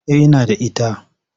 Eh ina da ita.